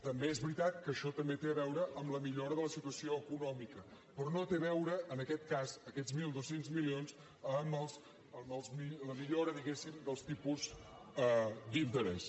també és veritat que això també té a veure amb la millora de la situació econòmica però no té a veure en aquest cas aquests mil dos cents milions amb la millora diguem ne dels tipus d’interès